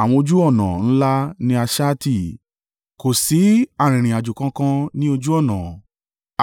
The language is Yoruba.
Àwọn ojú ọ̀nà ńlá ni a ṣá tì, kò sí arìnrìn-àjò kankan ní ojú ọ̀nà.